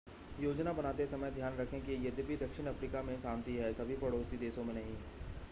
योजना बनाते समय ध्यान रखें कि यद्यपि दक्षिण अफ़्रीका में शांति है सभी पड़ोसी देशों में नहीं